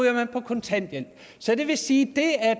kontanthjælp så det vil sige